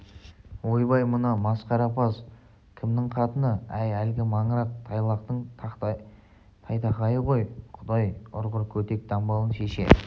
ойбай мына масқарапаз кімнің қатыны әй әлгі маңырақ тайлақтың тайтақайы ғой құдай ұрғыр көтек дамбалын шеше